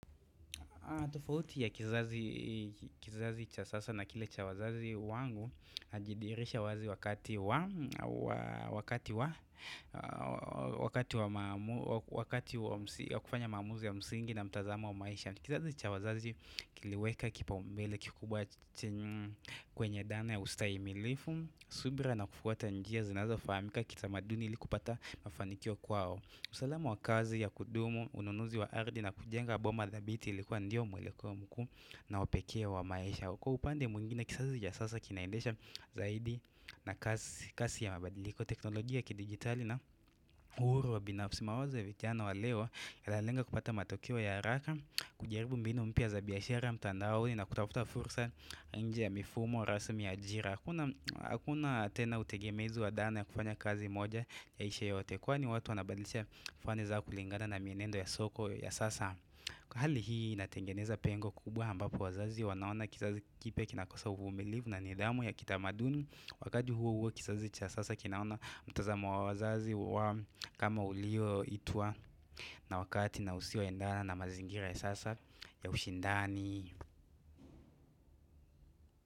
Kuna tofauti ya kizazi cha sasa na kile cha wazazi wangu ajidirisha wazi wakati wa wakati wa kufanya maamuzi ya msingi na mtazamo wa maisha. Kizazi cha wazazi kiliweka kipaombele kikubwa kwenye dhana ya ustahimilifu, subira na kufuata njia zinazofamika kitamaduni ili kupata mafanikio kwao. Usalama wa kazi ya kudumu, ununuzi wa ardhi na kujenga boma dhabiti ilikuwa ndiyo mweleko mkuu na wa pekee wa maisha. Kwa upande mwingine kizazi cha sasa kinaendesha zaidi na kazi ya mabadiliko teknolojia na kidijitali na uhuru wa binafsi mawazo ya vijana wa leo Yanalenga kupata matokeo ya haraka, kujaribu mbinu mpya za biashira mtandaoni na kutafuta fursa nje ya mifumo, rasmi ya ajira Hakuna tena utegemezi wa dhana ya kufanya kazi moja yaishe yote kwani watu wanabadilisha fani za kulingana na mienendo ya soko ya sasa Hali hii inatengeneza pengo kubwa ambapo wazazi wanaona kizazi kipya kinakosa uvumilivu na nidhamu ya kitamaduni. Wakati huo huo kizazi cha sasa kinaona mtazamo wa wazazi kama ulioitwa na wakati na usioendana na mazingira ya sasa ya ushindani.